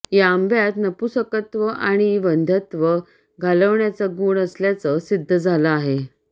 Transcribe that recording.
या आंब्यात नपुंसकत्व आणि वंध्यत्व घालवण्याचा गुण असल्याचं सिद्ध झालं आहे